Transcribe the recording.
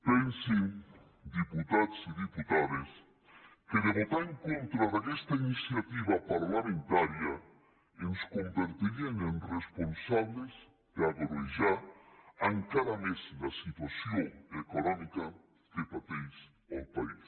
pensin diputats i diputades que si voten en contra d’aquesta iniciativa parlamentària ens convertirien en responsables d’agreujar encara més la situació econòmica que pateix el país